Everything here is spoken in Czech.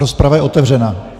Rozprava je otevřena.